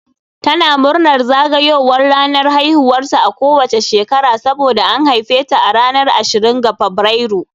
Tana murnar zagayowar ranar haihuwarta a kowace shekara saboda an haife ta a ranar ashirin ga Fabrairu